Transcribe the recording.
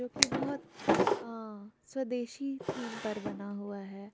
जोकि बोहोत अ स्वदेशी थीम पर बना हुआ हे.